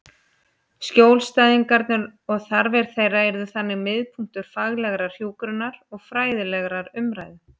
Skjólstæðingarnir og þarfir þeirra yrðu þannig miðpunktur faglegrar hjúkrunar og fræðilegrar umræðu.